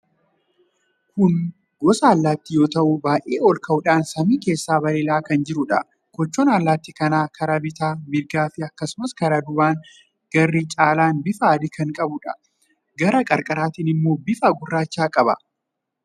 Kun gosa allaattii yoo ta'u, baay'ee olka'uudhaan samii keessa balali'aa kan jiruudha. Kochoon allaattii kanaa karaa bitaa, mirgaan fi akkasumas karaa duubaa garri caalaan bifa adii kan qabuudha. Gara qarqaraatiin immoo bifa gurraacha qaba.